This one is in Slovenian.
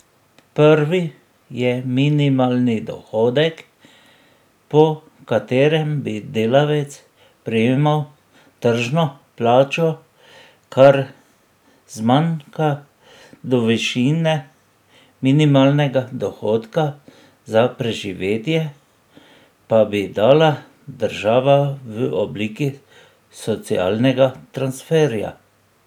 Prvi je minimalni dohodek, po katerem bi delavec prejemal tržno plačo, kar zmanjka do višine minimalnega dohodka za preživetje, pa bi dala država v obliki socialnega transferja.